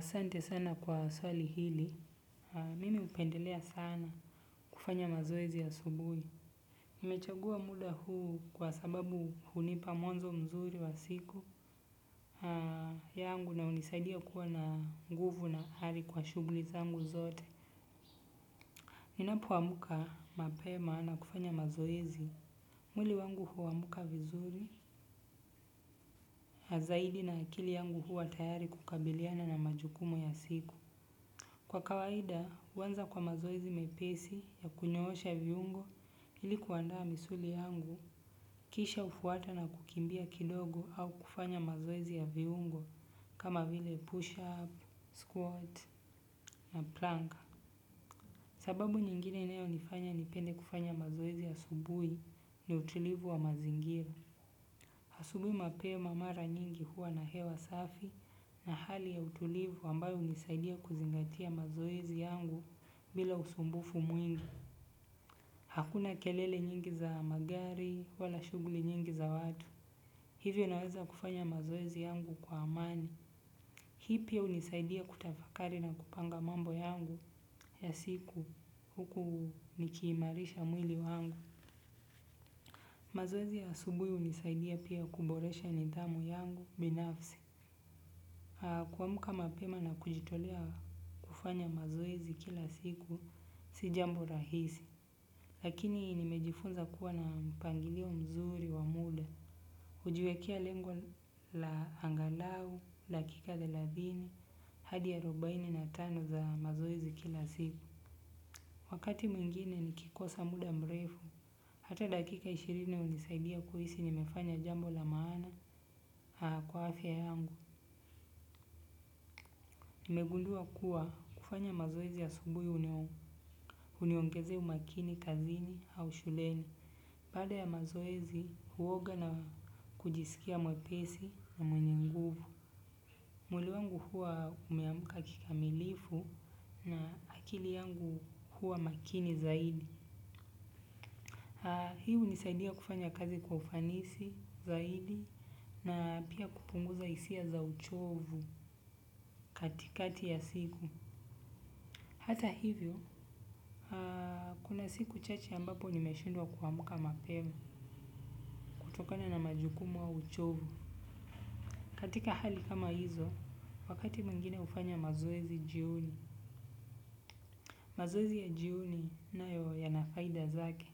Sante sana kwa swali hili, mimi hupendelea sana kufanya mazoezi asubui. Nimechagua muda huu kwa sababu hunipa mwanzo mzuri wa siku yangu na hunisaidia kuwa na nguvu na ari kwa shugli zangu zote. Ninapoamka mapema na kufanya mazoezi. Mwili wangu huamka vizuri, zaidi na akili yangu huwa tayari kukabiliana na majukumu ya siku. Kwa kawaida, huanza kwa mazoezi mepesi ya kunyoosha viungo ili kuandaa misuli yangu kisha hufuata na kukimbia kidogo au kufanya mazoezi ya viungo kama vile push up, squat na plank. Sababu nyingine inayonifanya nipende kufanya mazoezi asubui ni utulivu wa mazingira. Asubuhi mapema mara nyingi huwa na hewa safi na hali ya utulivu ambayo hunisaidia kuzingatia mazoezi yangu bila usumbufu mwingi. Hakuna kelele nyingi za magari wala shughuli nyingi za watu. Hivyo unaweza kufanya mazoezi yangu kwa amani. Hii pia hunisaidia kutafakari na kupanga mambo yangu ya siku huku nikiimarisha mwili wangu. Mazoezi ya asubui hunisaidia pia kuboresha nidhamu yangu binafsi. Kuamka mapema na kujitolea kufanya mazoezi kila siku si jambo rahisi. Lakini nimejifunza kuwa na mpangilio mzuri wa muda. Hujiwekea lengo la angalau, dakika thelathini, hadi arobaini na tano za mazoezi kila siku. Wakati mwingine nikikosa muda mrefu hata dakika ishirini hunisaidia kuhisi nimefanya jambo la maana kwa afya yangu. Nimegundua kuwa kufanya mazoezi asubuhi huniongezea umakini, kazini au shuleni. Baada ya mazoezi huoga na kujisikia mwepesi na mwenye nguvu. Mwili wangu huwa umeamka kikamilifu na akili yangu huwa makini zaidi. Hii hunisaidia kufanya kazi kwa ufanisi zaidi na pia kupunguza hisia za uchovu katikati ya siku. Hata hivyo kuna siku chache ambapo nimeshindwa kuamka mapema kutokana na majukumu au uchovu katika hali kama hizo wakati mwengine hufanya mazoezi jioni. Mazoezi ya jioni nayo yana faida zake,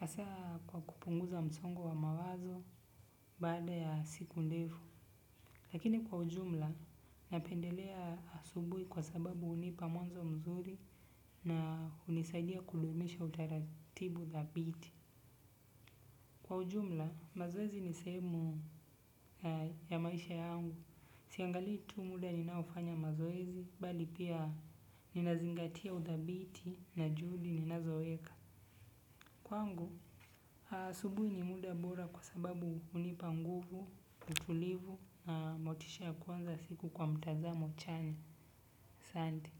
hasa kwa kupunguza msongo wa mawazo baada ya siku ndefu, lakini kwa ujumla napendelea asubui kwa sababu hunipa mwanzo mzuri na hunisaidia kudumisha utaratibu thabiti. Kwa ujumla, mazoezi ni sehemu ya maisha yangu, siangalii tu muda ninaofanya mazoezi, bali pia ninazingatia uthabiti na juhudi ninazoweka. Kwangu, asubuhi ni muda bora kwa sababu hunipa nguvu, utulivu na motisha ya kuanza siku kwa mtazamo chanya asante.